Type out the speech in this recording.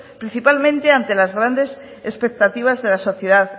principalmente ante las grandes expectativas de la sociedad